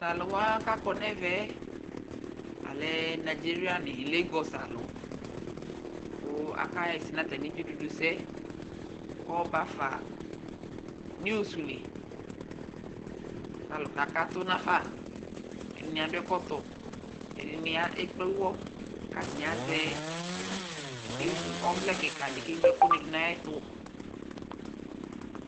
Taluwa kakɔ nɛvɛɛ, alɛ Nigeria ni, lagos aluKʋ akaɣɛsɛ natami dzidudu sɛKɔɔbafa news liKalu kakatʋ nafaƐdini adʋ ɛkɔtɔ ɛdini ekple uwɔKatani azɛ ɔvlɛ kika di keŋlo ɛkʋ du nayɛtu